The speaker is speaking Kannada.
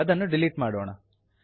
ಅದನ್ನು ಡಿಲೀಟ್ ಮಾಡೋಣ